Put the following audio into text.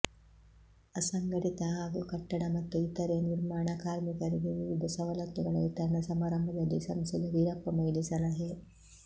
ಅಸಂಘಟಿತ ಹಾಗೂ ಕಟ್ಟಡ ಮತ್ತು ಇತರೆ ನಿರ್ಮಾಣ ಕಾರ್ಮಿಕರಿಗೆ ವಿವಿಧ ಸವಲತ್ತುಗಳ ವಿತರಣಾ ಸಮಾರಂಭದಲ್ಲಿ ಸಂಸದ ವೀರಪ್ಪ ಮೊಯಿಲಿ ಸಲಹೆ